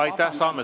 Aitäh!